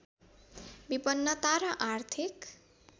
विपन्नता र आर्थिक